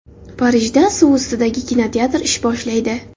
Parijda suv ustidagi kinoteatr ish boshlaydi.